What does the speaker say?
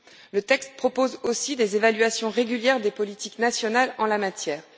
Le texte propose aussi des évaluations régulières des politiques nationales en la matière.